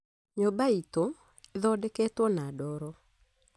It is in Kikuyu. Nyũmba iitũ ĩthondeketwo na ndoro